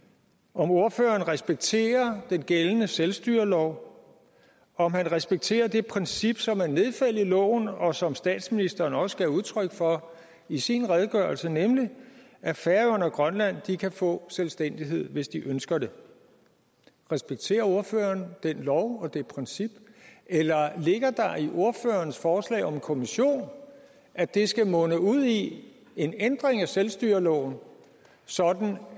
om ordføreren respekterer den gældende selvstyrelov om han respekterer det princip som er nedfældet i loven og som statsministeren også gav udtryk for i sin redegørelse nemlig at færøerne og grønland kan få selvstændighed hvis de ønsker det respekterer ordføreren den lov og det princip eller ligger der i ordførerens forslag om en kommission at det skal munde ud i en ændring af selvstyreloven sådan